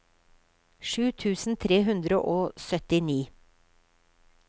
sju tusen tre hundre og syttini